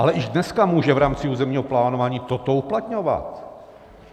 Ale již dneska může v rámci územního plánování toto uplatňovat.